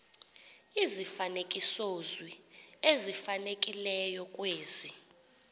izifanekisozwi ezifanelekileyo kwezi